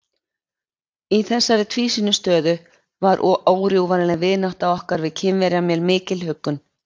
Í þessari tvísýnu stöðu var órjúfanleg vinátta okkar við Kínverja mér mikil huggun.